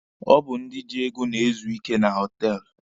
Ọ bụ ndị ji ego na-ezu ike na họtelụ.